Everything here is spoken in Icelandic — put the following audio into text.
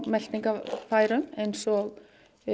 meltingarfærum eins og